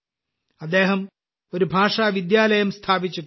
അദ്ദേഹം ഒരു ഭാഷാവിദ്യാലയം സ്ഥാപിച്ചിട്ടുണ്ട്